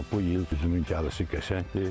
Ancaq bu il üzümün gəlişi qəşəngdir.